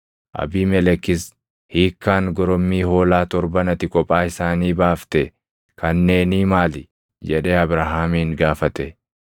Abiimelekis, “Hiikkaan gorommii hoolaa torban ati kophaa isaanii baafte kanneenii maali?” jedhee Abrahaamin gaafate.